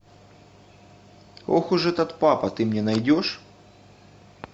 ох уж этот папа ты мне найдешь